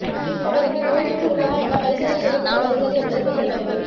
அவருக்கு நோய்த்தொற்று உள்ளதா என பரிசோதனை செய்யப்பட்டு வருகிறது என்பது குறிப்பிடத்தக்கது